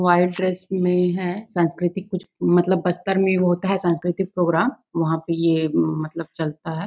White dress में हैं संस्कृति कुछ मतलब बस्तर में वो होता हैं सांस्कृतिक प्रोग्राम वहाँ पे ये मतलब चलता है।